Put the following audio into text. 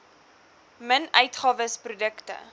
min uitgawes produkte